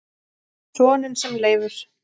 Soninn sem Leifur